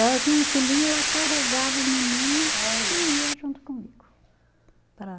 Ela tinha um filhinho, ela carregava o menino. Olha. E ia junto comigo para